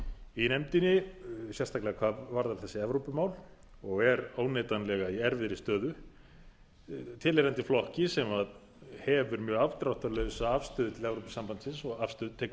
í nefndinni sérstaklega hvað varðar þessu evrópumál og er óneitanlega í erfiðri stöðu tilheyrandi flokki sem hefur með afdráttarlausri afstöðu til evrópusambandsins tekið afstöðu